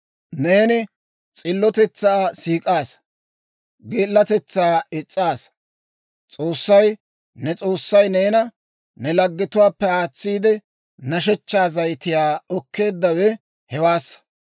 Neeni s'illotetsaa siik'aasa; geelatetsaa is's'aa. S'oossay, ne S'oossay, neena ne laggetuwaappe aatsiide, nashshechchaa zayitiyaa okkeeddawe hewaassa.